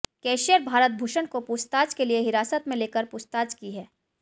cashier Bharat Bhushan को पूछताछ के लिए हिरासत में लेकर पूछताछ की है